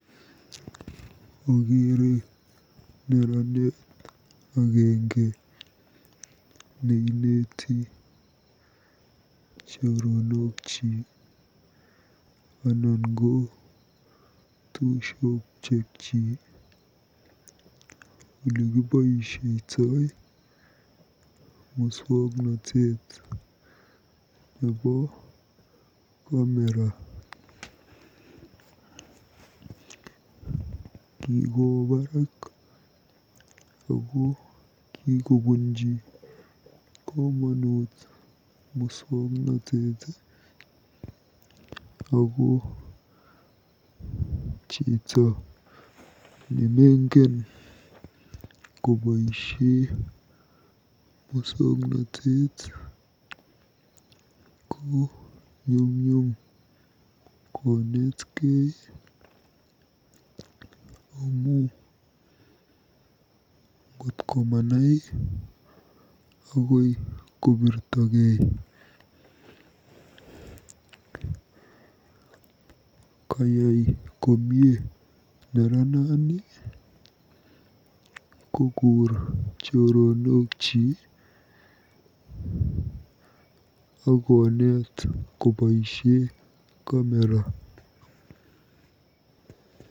Okeere neranet agenge neineti choronokyik anan ko tupchosiekchi olekiboisietoi musoknotet nebo kamera. KIkowo barak ako kikobunji komonut musoknotet ako chito nemengen koboisie musoknotet ko nyumnyum konetkei amu ngot komanai akoi kobirtogei. Kayai komie neranani kokur choronokyi akoneet koboisie kamera.